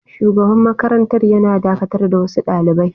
Shugaban makarantar yana dakatar da wasu dalibai.